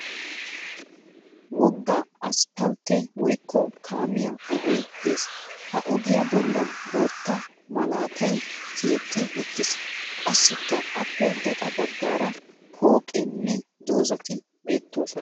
Wogga isipalttee woyikko kaamiya ogee des. Ha ogiya bollan bootta malaatay tiyetti uttis. Qassikka aappe gaxa baggaara pooqeenne dozzati beettoosona.